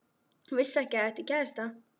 Hún vissi ekki að ég ætti kærasta.